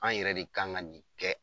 An yɛrɛ de kan ka nin kɛ.